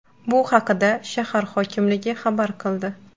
Bu haqda shahar hokimligi xabar qildi .